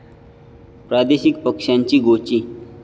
प्रादेशिक पक्षांची गोची